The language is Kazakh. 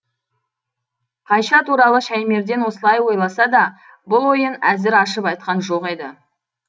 қайша туралы шәймерден осылай ойласа да бұл ойын әзір ашып айтқан жоқ еді